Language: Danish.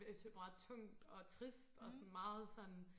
det er meget sådan tungt og trist og meget sådan